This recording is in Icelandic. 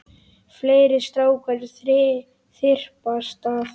Fleiri strákar þyrpast að.